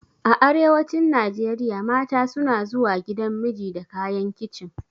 A arewacin Najeriya mata suna zuwa gidan miji da kayan kicin.